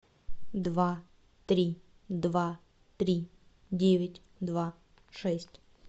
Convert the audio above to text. два три два три девять два шесть